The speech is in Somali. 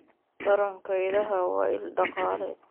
Taranka idaha waa il dhaqaale.